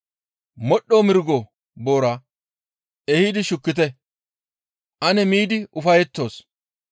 Modhdho mirgo boora ehidi shukkite; ane miidi ufayettoos.